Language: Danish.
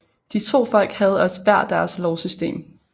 De to folk havde også hver deres lovsystem